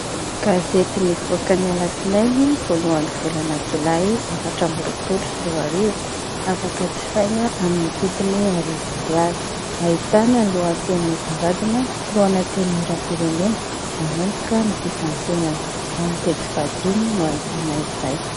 Gazety nivoaka ny alatsinainy voalohan'ny volana jolay efatra ambiroapoly sy roarivo, afaka jifaina amin'ny vidiny arivo ariary, ahitana ny lohateny misongadina : filoan'ny antenimieram_pirenena ; manomboka ny fifantenana. Ao amin'ny pejy fahadimy no hahitana izay.